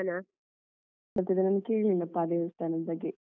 ಅದು ನಾನು ಕೇಳಿಲ್ಲಪ್ಪ ದೇವಸ್ತಾನದ ಬಗ್ಗೆ.